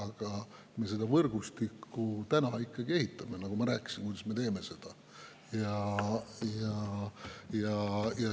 Aga täna me seda võrgustikku veel ehitame ja ma rääkisin, kuidas me seda teeme.